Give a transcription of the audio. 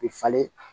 U bɛ falen